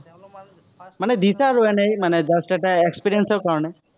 মানে দিছা আৰু এনেই মানে just এটা experience ৰ কাৰনে।